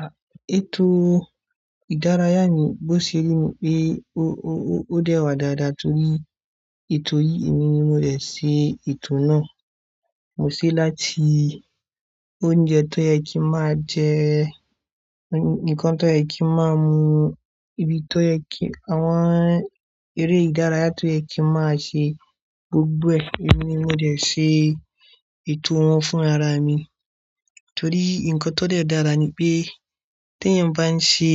Ah, ètò ìdárayá mi, bó ṣe rí pé ó, ó, ó dẹ́wà dáadáa torí ètò yìí, èmi ni mo dẹ̀ ṣe ètò náà. Mo sì láti oúnjẹ tó yẹ kí máa jẹ, nǹkan tó yẹ kí máa mu, ibi tó yẹ kí, àwọn eré ìdárayá tó yẹ kí máa ṣe, gbogbo ẹ̀, èmi ni mo dẹ̀ ṣe ètò wọn fún ara mi. Torí nǹkan tó dẹ dára ni pé, tí ẹ́ bá ń ṣe